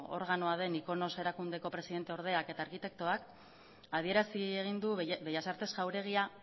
organoa denik icomos erakundeko presidente ordeak eta arkitektuak adierazi egin du bellas artes jauregia